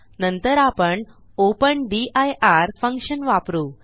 नंतर आपण open dir function वापरू